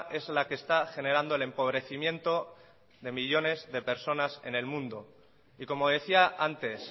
es la que está generando el empobrecimiento de millónes de personas en el mundo y como decía antes